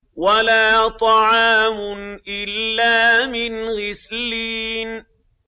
وَلَا طَعَامٌ إِلَّا مِنْ غِسْلِينٍ